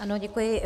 Ano, děkuji.